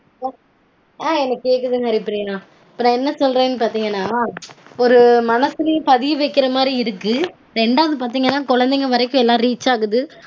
ஆஹ் எனக்கு கேக்குதுங் ஹரிப்பிரியா. இப்போ நா என்ன சொல்ரேனு பாத்தீங்கனா ஒரு மனசுலையும் பதிய வைக்கற மாதிரி இருக்கு. ரெண்டாவது பாத்தீங்கனா கொழந்தைங்க வரைக்கும் எல்லாம் reach ஆகுது